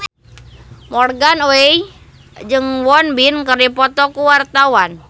Morgan Oey jeung Won Bin keur dipoto ku wartawan